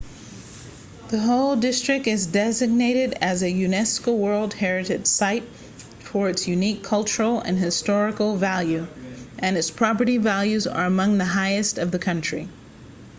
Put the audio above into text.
the whole district is designated as a unesco world heritage site for its unique cultural and historical value and its property values are among the highest of the country